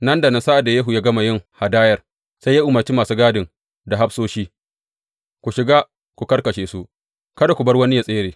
Nan da nan sa’ad da Yehu ya gama yin hadayar, sai ya umarci masu gadin da hafsoshi, Ku shiga ku karkashe su; kada ku bar wani yă tsere.